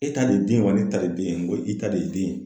E ta de ye den ye wa ne ta de ye den ye? N ko i ta de ye den ye.